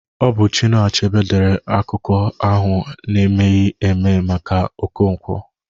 Ọ bụ Chinua Achebe dere akụkọ ahụ n'emeghi eme maka Okonkwo